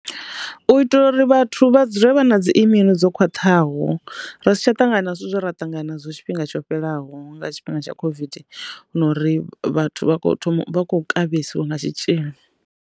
U itela uri vhathu vha dzule vha na dzi immune dzo khwaṱhaho ra si tsha ṱangana zwithu zwo ra ṱangana zwo tshifhinga tsho fhelaho nga tshifhinga tsha COVID hu na uri vhathu vha khou kavhesiwa nga tshitzhili.